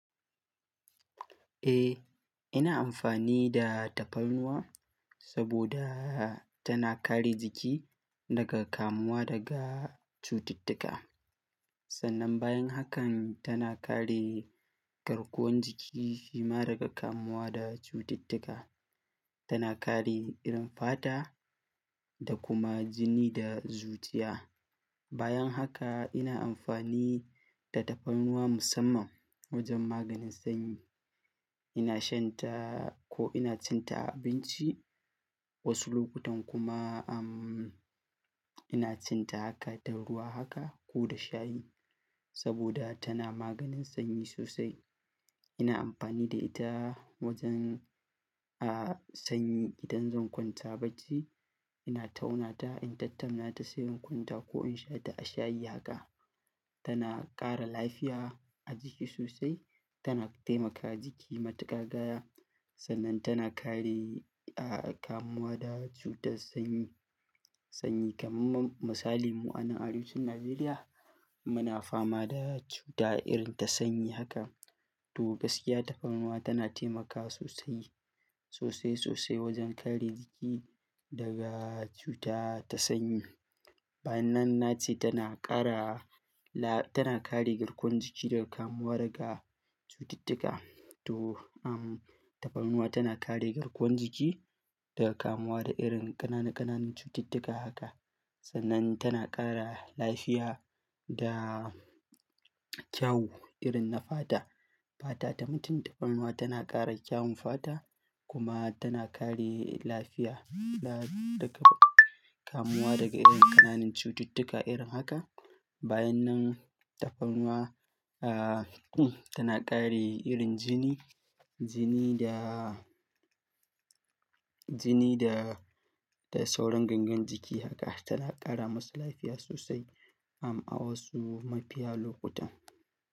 Eh, ina amfani da tafarnuwa saboda tana kare jiki daga kamuwa daga cututtuka. Sannan bayan hakan tana kare garkuwan jiki shima daga kamuwa da cututtuka. Tana kare irin fata da kuma jini da zuciya. Bayan haka ina amfani da tafarnuwa musamman wajen maganin sanyi. Ina shan ta ko ina cin ta a abinci, wasu lokutan kuma, ina cin ta haka ta ruwa haka ko da shayi, saboda tana maganin sanyi sosai. Ina amfani da ita wajen, sanyi idan zan kwanta bacci. Ina tauna ta in tattauna ta sai in kwanta ko in sha ta a shayi haka. Tana ƙara lafiya a jiki sosai, tana taimaka jiki matakagaya sannan tana kare, kamuwa da cutar sanyi, sanyi kamar misali mu a nan arewacin Najeriya muna fama da cuta irin ta sanyi haka. To gaskiya tafarnuwa tana taimakawa sosai, sosai sosai wajen kare jiki daga cuta ta sanyi. Bayan nan na ce tana ƙara, tana kare garkuwan jiki daga kamuwa daga cututtuka. To, tafarnuwa tana kare garkuwan jiki daga kamuwa da irin ƙanana ƙananan cututtuka haka sannan tana ƙara lafiya da kyau irin na fata. Fata ta mutum tafarnuwa tana ƙara kyaun fata kuma tana kare lafiya, daga kamuwa daga irin ƙananan cututtuka irin haka. Bayan nan tafarnuwa, tana ƙare irin jini, jini da, jini da, da sauran gangan jiki haka tana ƙara masu lafiya sosai, a wasu mafiyan lokuta.